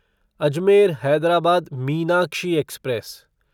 Ajmer Hyderabad Meenakshi express